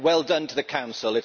well done to the Council